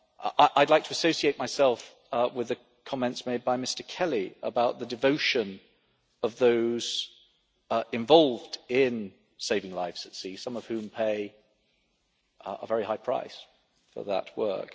I would like to associate myself with the comments made by Mr Kelly about the devotion of those involved in saving lives at sea, some of whom pay a very high price for that work.